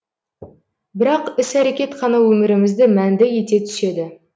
бірақ іс әрекет қана өмірімізді мәнді ете түседі